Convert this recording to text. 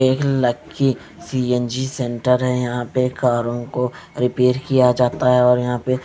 एक lucky C_ N_ G centre है यहां पर कारों को रिपेयर किया जाता है और यहां पर --